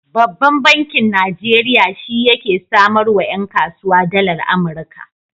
Babban bankin Najeriya shi yake samarwa 'yan kasuwa dalar Amurika.